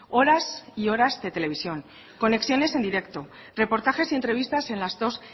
horas y horas de televisión conexiones en directo reportajes y entrevistas en las dos